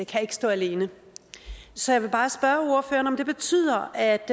kan stå alene så jeg vil bare spørge ordføreren om det betyder at